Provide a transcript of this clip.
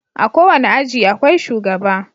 A kowane aji akwai shugaba.